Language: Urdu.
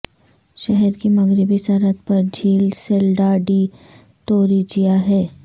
شہر کی مغربی سرحد پر جھیل سیلڈا ڈی توریویجا ہے